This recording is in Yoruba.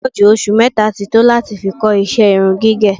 Ó pọ̀ jù oṣù mẹ́ta ti tó láti fi kọ́ ìṣe irun gígẹ̀